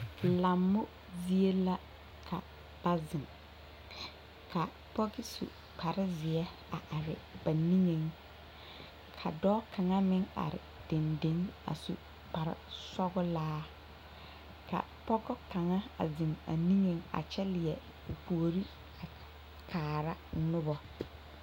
Lammo zie la ka ba zeŋ ka pɔge su kparezeɛ a are ba niŋeŋ ka dɔɔ kaŋ meŋ are dendeŋ a su kparesɔglaa ka pɔge kaŋa a zeŋ a niŋeŋ a kyɛ leɛ o puori a kaara noba.